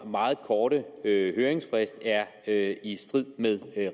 meget korte høringsfrist er er i strid med